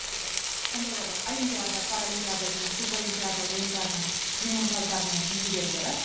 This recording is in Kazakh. қандай да бір олимпиада паралимпиада және сурдоолимпиада ойындарының жеңімпаздары мен жүлдегерлері